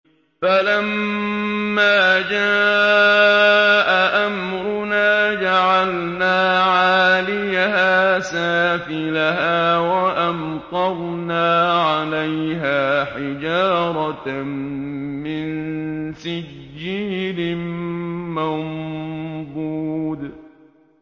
فَلَمَّا جَاءَ أَمْرُنَا جَعَلْنَا عَالِيَهَا سَافِلَهَا وَأَمْطَرْنَا عَلَيْهَا حِجَارَةً مِّن سِجِّيلٍ مَّنضُودٍ